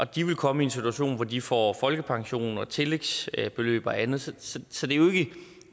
de vil komme i en situation hvor de får folkepension og tillægsbeløb og andet så så det